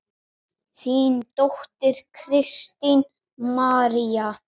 Þín dóttir, Kristín María.